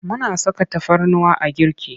Muna saka tafarnuwa a girki.